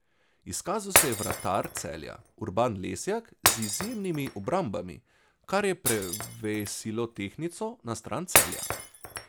Izkazal se je vratar Celja Urban Lesjak z izjemnimi obrambami, kar je prevesilo tehtnico na stran Celja.